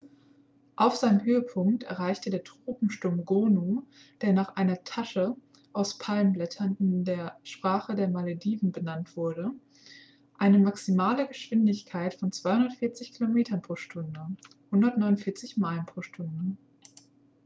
auf seinem höhepunkt erreichte der tropensturm gonu der nach einer tasche aus palmenblättern in der sprache der malediven benannt wurde eine maximale geschwindigkeit von 240 kilometern pro stunde 149 meilen pro stunde